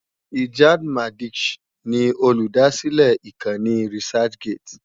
Ijad Madisch ni olùdásílẹ̀ ìkànnì researchgate.